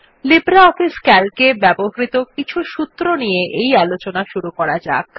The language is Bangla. লিব্রিঅফিস Calc এ ব্যবহৃত কিছু সূত্র নিয়ে এই আলোচনা শুরু করা যাক